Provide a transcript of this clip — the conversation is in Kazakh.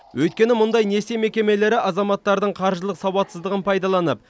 өйткені мұндай несие мекемелері азаматтардың қаржылық сауатсыздығын пайдаланып